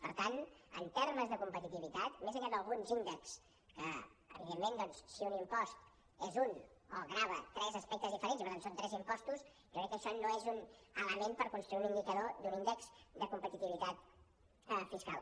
per tant en termes de competitivitat més enllà d’alguns índexs que evidentment doncs si un impost és un o grava tres aspectes diferents i per tant són tres impostos jo crec que això no és un element per construir un indicador d’un índex de competitivitat fiscal